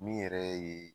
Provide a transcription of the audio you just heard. Min yɛrɛ ye